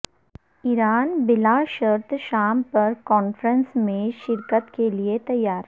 ایران بلا شرط شام پر کانفرنس میں شرکت کیلیے تیار